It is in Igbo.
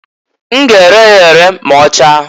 N g' ere ya ere m'ọchaa.